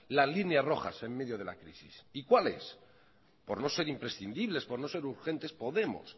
la línea roja en medio de la crisis y cuales por no ser imprescindibles por no ser urgentes podemos